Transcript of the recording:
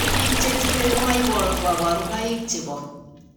Biik chetinye komo boru kabarunaik chebo